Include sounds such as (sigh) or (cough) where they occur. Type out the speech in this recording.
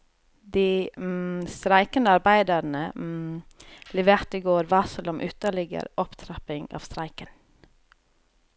De (hesitation) streikende arbeiderne (hesitation) leverte i går varsel om ytterligere opptrapping av streiken.